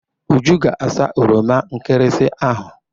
Uju ga asa oroma nkịrịsị ahụ.